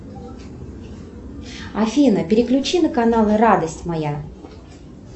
афина переключи на канал радость моя